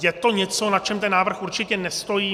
Je to něco, na čem ten návrh určitě nestojí.